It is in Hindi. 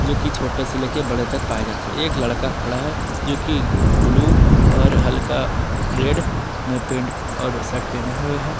जोकि छोटे से लेकर बड़े तक पाए जाते हैं एक लड़का खड़ा है जोकि ब्लू और हल्का रेड में पैंट और शर्ट पहना हवे है।